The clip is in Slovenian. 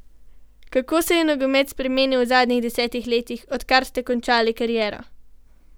Kako se je nogomet spremenil v zadnjih desetih letih, odkar ste končali kariero?